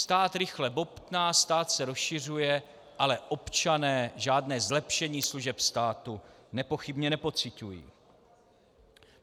Stát rychle bobtná, stát se rozšiřuje, ale občané žádné zlepšení služeb státu nepochybně nepociťují.